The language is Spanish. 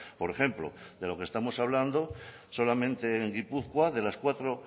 por ejemplo de lo que estamos hablando solamente en gipuzkoa de las cuatro